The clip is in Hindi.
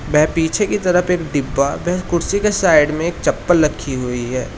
मैं पीछे की तरफ डिब्बा व है कुर्सी का साइड में एक चप्पल रखी हुई है।